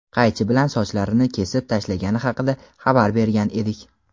qaychi bilan sochlarini kesib tashlagani haqida xabar bergan edik.